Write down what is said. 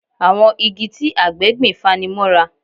Àwọn igi tí àgbẹ̀ gbìn fani mọ́ra